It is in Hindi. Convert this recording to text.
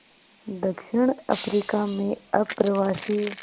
दक्षिण अफ्रीका में अप्रवासी